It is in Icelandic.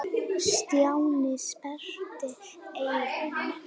Stjáni sperrti eyrun.